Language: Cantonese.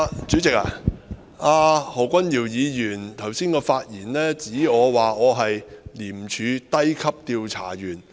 主席，何君堯議員在剛才的發言中說我是廉政公署低級調查員。